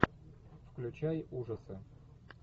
включай ужасы